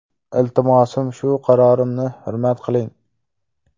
Iltimosim shu qarorimni hurmat qiling!